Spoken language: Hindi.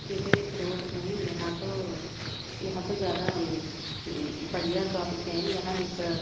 ये तो एक रोड हैं यहाँ तो यहाँ तो ज्यादा अ बढ़िया ट्रॉपिक हैं यहां एक--